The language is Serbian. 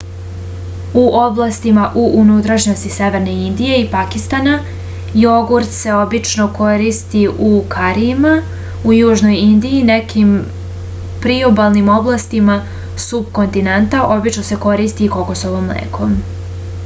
u oblastima u unutrašnjosti severne indije i pakistana jogurt se obično koristi u karijima u južnoj indiji i nekim priobalnim oblastima supkontinenta obično se koristi kokosovo mleko